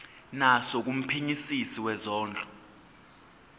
naso kumphenyisisi wezondlo